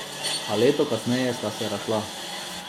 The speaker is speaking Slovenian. A leto kasneje sta se razšla.